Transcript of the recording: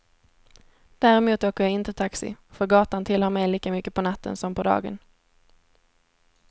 Däremot åker jag inte taxi, för gatan tillhör mig lika mycket på natten som på dagen.